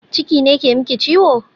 Ciki ne ke miki ciwo?